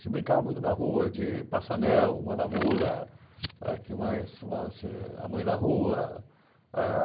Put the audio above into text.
Se brincava muito na rua de Passanel, Manamula, é que mais chamava-se a Mãe da Rua.